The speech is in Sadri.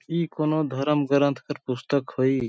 इ कौनों धर्म ग्रंथ कर पुस्तक होई।